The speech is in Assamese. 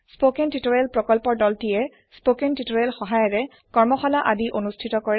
স্পকেন টিওটৰিয়েল প্ৰকল্পৰ দলটিয়ে স্পকেন টিওটৰিয়েলৰ সহায়েৰে কৰ্মশালা আদি অনুষ্ঠিত কৰে